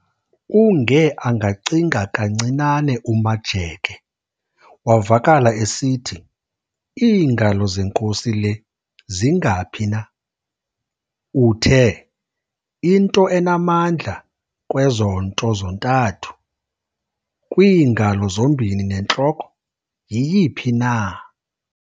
Unge angacinga kancinane uMajeke, wavakala esithi, "Iingalo zenkosi le zingaphi na? Uthe, "Into enamandla kwezo nto zontathu - kwiingalo zombini nentloko - yiyiphi na?